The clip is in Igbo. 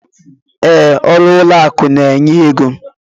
Ee, ọrụ ụlọ akụ n'enye ego.